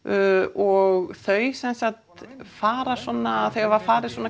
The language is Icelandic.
og þau fara svona hafa farið svona